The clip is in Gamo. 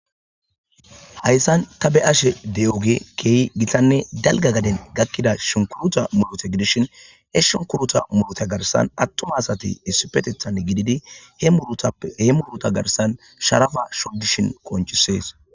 Hayssan ta be ashe de'oge keehi gitanne dalga gaden gakkida shinkuruta murote gidishin he shunkuruta murota garsan attuma asati issi petethan gididi he muruta garsan sharafa shogishin konchisees